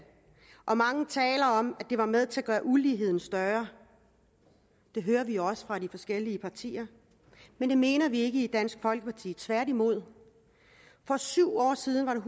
og mange taler om at det var med til at gøre uligheden større det hører vi også fra de forskellige partier men det mener vi ikke i dansk folkeparti tværtimod for syv år siden var der